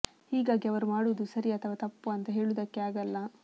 ಹೀಗಾಗಿ ಅವರು ಮಾಡುವುದು ಸರಿ ಅಥವಾ ತಪ್ಪು ಅಂತ ಹೇಳುವುದಕ್ಕೆ ಆಗಲ್ಲ